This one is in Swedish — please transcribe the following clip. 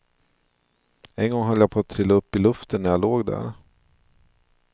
En gång höll jag på att trilla upp i luften när jag låg där.